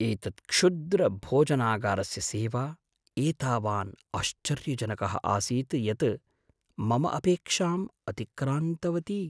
एतत् क्षुद्रभोजनागारस्य सेवा एतावान् आश्चर्यजनकः आसीत् यत् मम अपेक्षाम् अतिक्रान्तवती!